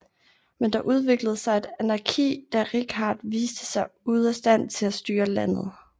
Men der udviklede sig et anarki da Richard viste sig ude af stand til styre landet